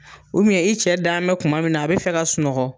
i cɛ da mɛn kuma min na a bɛ fɛ ka sunɔgɔ